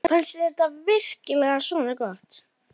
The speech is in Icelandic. Fannst þér þetta virkilega svona gott?